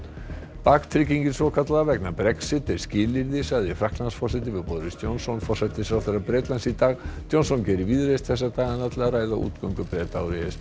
baktryggingin svokallaða vegna Brexit er skilyrði sagði Frakklandsforseti við Boris Johnson forsætisráðherra Bretlands í dag Johnson gerir víðreist þessa dagana til að ræða útgöngu Breta úr e s b